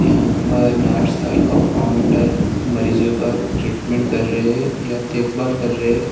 यहां पर नर्स और कंपाउंड मरीजों का ट्रीटमेंट कर रहे या देखभाल कर रहे--